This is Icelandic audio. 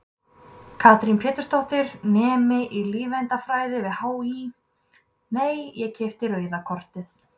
Katrín Pétursdóttir, nemi í lífeindafræði við HÍ: Nei, ég keypti rauða kortið?